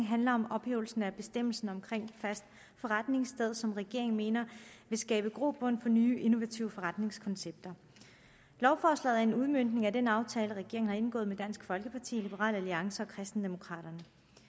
handler om ophævelse af bestemmelsen om fast forretningssted som regeringen mener vil skabe grobund for nye innovative forretningskoncepter lovforslaget er en udmøntning af den aftale regeringen har indgået med dansk folkeparti liberal alliance og kristendemokraterne